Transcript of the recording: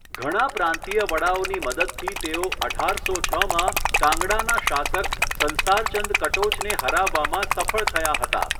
ઘણા પ્રાંતીય વડાઓની મદદથી તેઓ અઢારસો છમાં કાંગડાના શાસક સંસારચંદ કટોચને હરાવવામાં સફળ થયા હતા.